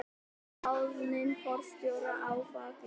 Ráðning forstjóra ófagleg